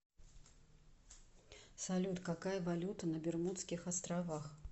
салют какая валюта на бермудских островах